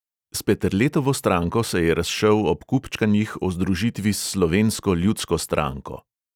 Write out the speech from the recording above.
S peterletovo stranko se je razšel ob kupčkanjih o združitvi s slovensko ljudsko stranko.